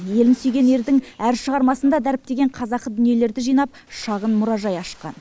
елін сүйген ердің әр шығармасында дәріптеген қазақы дүниелерді жинап шағын мұражай ашқан